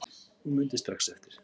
Hún mundi strax eftir